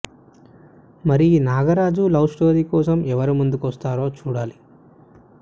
మరి ఈ Nagaraju love story కోసం ఎవరు ముందుకొస్తారో చూడాలి